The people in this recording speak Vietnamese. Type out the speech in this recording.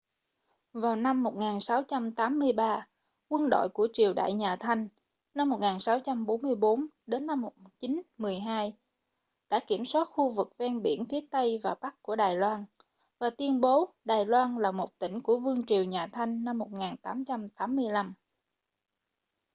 vào năm 1683 quân đội của triều đại nhà thanh 1644-1912 đã kiểm soát khu vực ven biển phía tây và bắc của đài loan và tuyên bố đài loan là một tỉnh của vương triều nhà thanh năm 1885